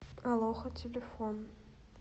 алоха телефон